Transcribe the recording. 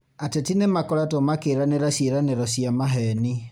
Ateti nĩmakoretwo makĩranĩra ciĩranĩro cia maheni